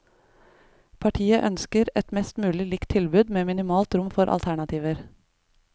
Partiet ønsker et mest mulig likt tilbud med minimalt rom for alternativer.